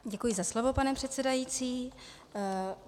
Děkuji za slovo, pane předsedající.